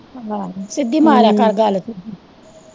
ਆਹੋ ਸਿੱਧੀ ਮਾਰਿਆ ਕਰ ਗੱਲ ਫਿਰ।